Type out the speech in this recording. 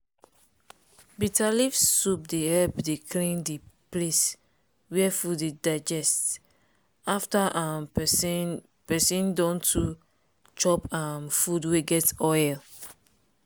bitter leaf soup dey help dey clean di place wia food dey digest after um peson peson don too chop um food wey get oil.